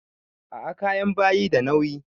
A'a kayan bayi da nauyi.